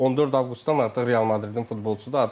14 avqustdan artıq Real Madridin futbolçusudur.